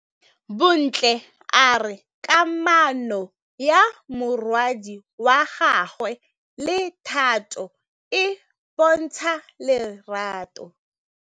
Bontle a re kamanô ya morwadi wa gagwe le Thato e bontsha lerato.